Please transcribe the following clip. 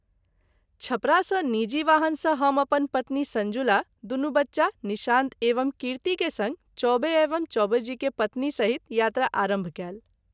छपरा सँ निजी वाहन सँ हम अपन पत्नी संजुला दुनू बच्चा निशांत एवं कीर्ति के संग चौबे एवं चौबे जी के पत्नी सहित यात्रा आरंभ कएल।